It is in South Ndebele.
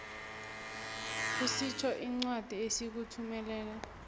kusitjho incwadi esikuthumelele